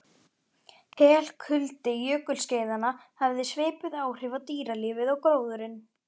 Helkuldi jökulskeiðanna hafði svipuð áhrif á dýralífið og á gróðurinn.